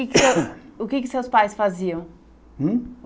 o que que seus pais faziam? Hum?